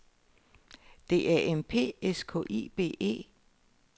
D A M P S K I B E